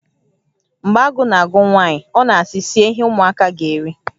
Mgbe agụụ na-agụ nwaanyị, ọ na-asị, 'Sie ihe ụmụaka ga-eri.